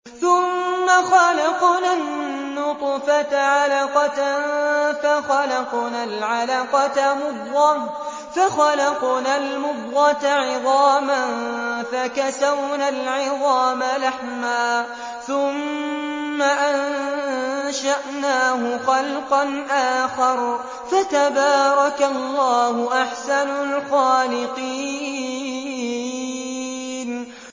ثُمَّ خَلَقْنَا النُّطْفَةَ عَلَقَةً فَخَلَقْنَا الْعَلَقَةَ مُضْغَةً فَخَلَقْنَا الْمُضْغَةَ عِظَامًا فَكَسَوْنَا الْعِظَامَ لَحْمًا ثُمَّ أَنشَأْنَاهُ خَلْقًا آخَرَ ۚ فَتَبَارَكَ اللَّهُ أَحْسَنُ الْخَالِقِينَ